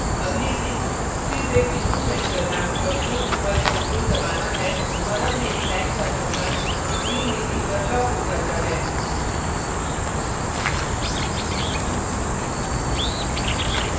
अगली trick सिर्फ एक बिंदु set करना और shift + ctrl दबाना है और अब मेरी line का चक्रण 15 degrees पर locked हो जाता है